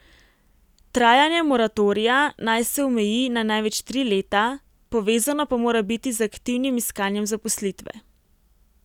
Trajanje moratorija naj se omeji na največ tri leta, povezano pa mora biti z aktivnim iskanjem zaposlitve.